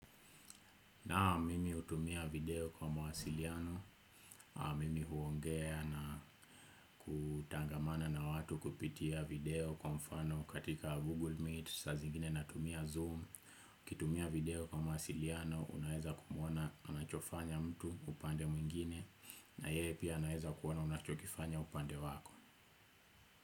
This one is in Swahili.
Naam mimi hutumia video kwa mawasiliano, mimi huongea na kutangamana na watu kupitia video kwa mfano katika Google Meet, saa zingine natumia Zoom, ukitumia video kwa mawasiliano, unaeza kumuona anachofanya mtu upande mwingine, na yeye pia anaweza kuona unachokifanya upande wako.